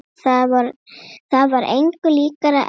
Það var engu líkara en